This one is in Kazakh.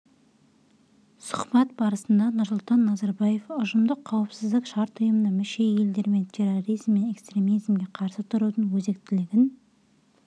сұхбат барысында нұрсұлтан назарбаев ұжымдық қауіпсіздік шарт ұйымына мүше елдермен терроризм мен экстремизмге қарсы тұрудың өзектілігін